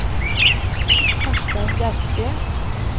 Karstein Bjerke